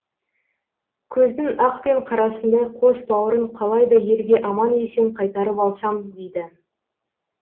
көздің ақ пен қарасындай қос бауырын қалай да елге аман есен қайтарып алсам дейді